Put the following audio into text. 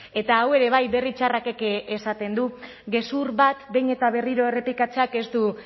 eta hau ere bai berri txarrakek esaten du gezur bat behin eta berriro errepikatzeak ez du